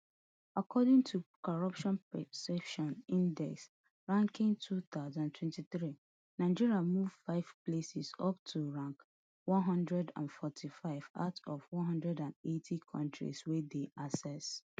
according to corruption perceptions index ranking two thousand and twenty-three nigeria move five places up to rank one hundred and forty-five out of one hundred and eighty kontris wey dem assess